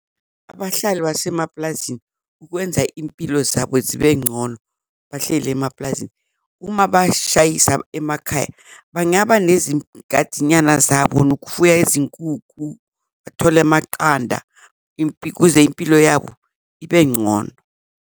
Abahlali basemaplazini kwenza impilo zabo zibe ngcono bahleli emaplazini uma bashayisa emakhaya, bangaba nyana zabo nokufuya izinkukhu, bathole amaqanda ukuze impilo yabo ibe ngcono.